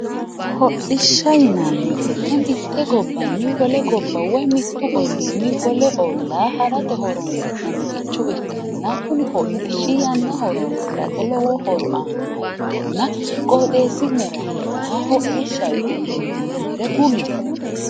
hodhishsha yinanni woyiite mitte gobbanni wole gobba woy mittu olliinni wole ollaa harate horonsi'naniricho ikkanna kuni hodhishshi yanna horonsirate lowo horo aannoha ikkanna qooxeesi'nera heeraaha hodhishaho yitine hedinanniha kulle